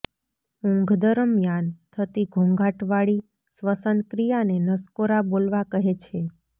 ઊંઘ દરમિયાન થતી ઘોંઘાટવાળી શ્વસનક્રિયાને નસકોરા બોલવા કહે છે